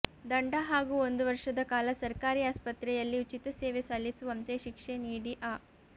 ದಂಡ ಹಾಗೂ ಒಂದು ವರ್ಷದ ಕಾಲ ಸರ್ಕಾರಿ ಆಸ್ಪತ್ರೆಯಲ್ಲಿ ಉಚಿತ ಸೇವೆ ಸಲ್ಲಿಸುವಂತೆ ಶಿಕ್ಷೆ ನೀಡಿ ಅ